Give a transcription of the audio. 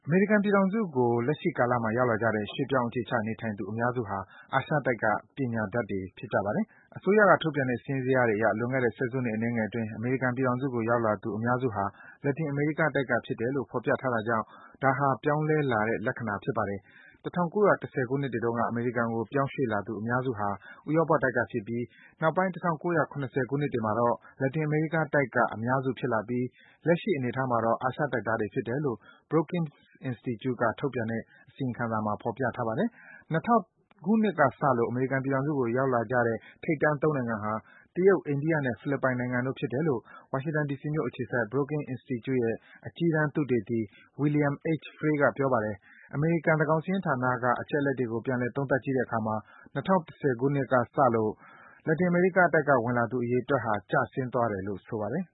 မေရိကန်ပြည်ထောင်စုကို လက်ရှိကာလမှာ ရောက်လာကြတဲ့ ရွှေ့ပြောင်း အခြေချနေထိုင်သူ အများစုဟာ အာရှတိုက်က ပညာတတ်တွေ ဖြစ်ပါတယ်။ အစိုးရက ထုတ်ပြန်တဲ့ စာရင်းဇယားတွေအရ လွန်ခဲ့တဲ့ ဆယ်စုနှစ် အနည်းငယ်အတွင်း အမေရိကန်ပြည်ထောင်စုကို ရောက်လာသူ အများစုဟာ လက်တင်အမေရိကားတိုက်က ဖြစ်တယ်လို့ ဖော်ပြထားတာကြောင့် ဒါဟာ ပြောင်းလဲလာတဲ့ လက္ခဏာဖြစ်ပါတယ်။ ၁၉၁၀ ခုနှစ်တွေတုန်းက အမေရိကန်ကို ပြောင်းရွှေ့လာသူ အများစုဟာ ဥရောပတိုက်ကဖြစ်ပြီ၊ နောက်ပိုင်း ၁၉၇၀ ခုနှစ်တွေမှာတော့ လက်တင်အမေရီးကားတိုက်က အများစုဖြစ်လာပြီး လက်ရှိ အနေအထားမှာတော့ အာရှတိုက်သားတွေဖြစ်တယ်လို့ Brookings Institute က ထုတ်ပြန်တဲ့ အစီရင်ခံစာမှာ ဖော်ပြထားပါတယ်။ ၂၀၀၀ ခုနှစ်ကစလို့ အမေရိကန်ပြည်ထောင်စုကို ရောက်လာကြတဲ့ ထိပ်တန်း ၃ နိုင်ငံဟာ တရုတ်၊ အိန္ဒိယနဲ့ ဖိလစ်ပိုင်နိုင်ငံတို့ဖြစ်တယ်လို့ ဝါရှင်တန် ဒီစီမြို့အခြေစိုက် Brooking Institute ရဲ့ အကြီးတန်း သုတေသီ William H. Frey က ပြောပါတယ်။ အမေရိကန် သန်းခေါင်စာရင်းဌာနက အချက်အလက်တွေကို ပြန်လည် သုံးသပ်ကြည့်တဲ့အခါမှာ ၂၀၁၀ ခုနှစ်ကစလို့ လက်တင်အမေရိကတိုက်က ဝင်ရောက်လာသူ အရေးအတွက်ဟာ ကျဆင်းသွားတယ်လို့ ဆိုပါတယ်